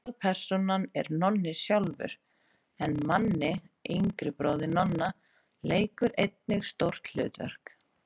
Aðalpersónan er Nonni sjálfur en Manni, yngri bróðir Nonna, leikur einnig stórt hlutverk.